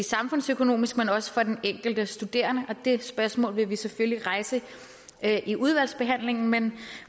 samfundsøkonomisk men også for den enkelte studerende og det spørgsmål vil vi selvfølgelig rejse i udvalgsbehandlingen men